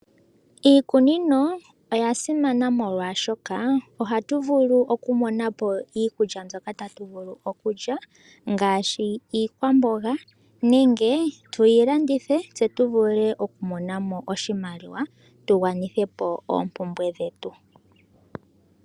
Iikunino oya simana molwaashoka, ohatu vulu oku monapo iikulya mbyoka tatu vulu okulya ngaashi iikwamboga, nenge tuyi landithe, tse tu vule oku monamo oshimaliwa tu gwanithepo oombumbwe dhetu.